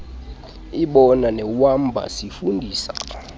ibona newamba sifundisa